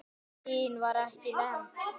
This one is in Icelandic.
Kyn var ekki nefnt.